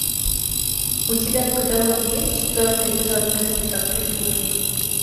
у тебя в каталоге есть четвертый эпизод мыслить как преступник